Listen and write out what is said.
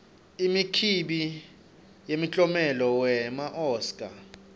imikimbi yemikiomelo wema oscar